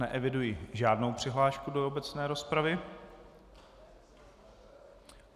Neeviduji žádnou přihlášku do obecné rozpravy.